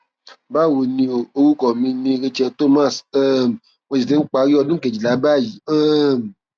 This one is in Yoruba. bawo ni o orúkọ mi ni rachel thomas um mo sì ti ń parí ọdún kejìlá báyìí um